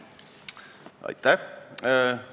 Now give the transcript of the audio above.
Aitäh!